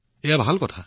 এইটো খুব ভাল কথা